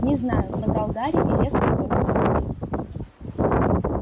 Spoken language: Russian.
не знаю соврал гарри и резко рванул с места